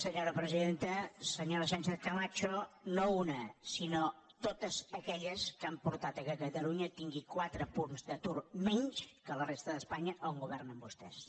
senyora sánchez camacho no una sinó totes aquelles que han portat que catalunya tingui quatre punts d’atur menys que la resta d’espanya on governen vostès